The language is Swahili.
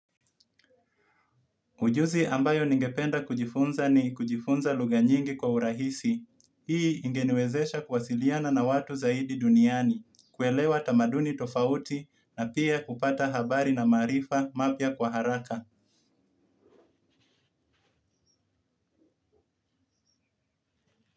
Ujuzi ambayo ningependa kujifunza ni kujifunza lugha nyingi kwa urahisi. Hii ingeniwezesha kuwasiliana na watu zaidi duniani, kuelewa tamaduni tofauti na pia kupata habari na maarifa mapya kwa haraka.